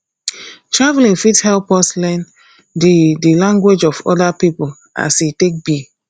traveling fit help us learn the the language of other pipo as e take be